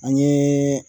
An ye